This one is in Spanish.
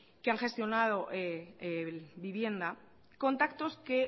que han gestionado vivienda contactos que